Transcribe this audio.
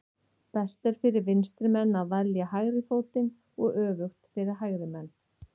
Best er fyrir vinstri menn að velja hægri fótinn og öfugt fyrir hægri menn.